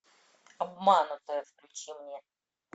обманутая включи мне